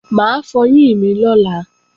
Mà á fọyín mi lọ́la